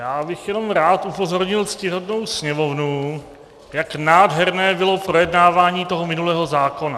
Já bych jenom rád upozornil ctihodnou Sněmovnu, jak nádherné bylo projednávání toho minulého zákona.